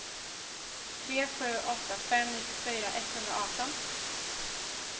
tre sju åtta fem nittiofyra etthundraarton